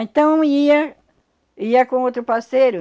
Então ia... Ia com outro parceiro.